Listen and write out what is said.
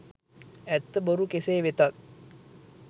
ඇත්ත බොරු කෙසේ වෙතත්